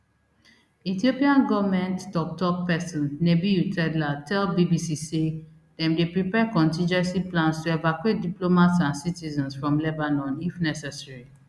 ethiopia goment tok tok pesin nebiyu tedla tell bbc say dem dey prepare contingency plans to evacuate diplomats and citizens from lebanon if necessary